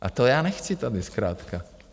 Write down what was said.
A to já nechci tady zkrátka.